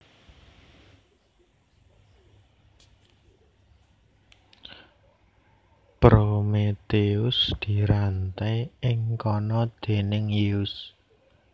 Prometheus diranté ing kana déning Zeus